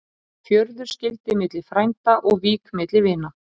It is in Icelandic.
Fjörður skyldi milli frænda og vík milli vina.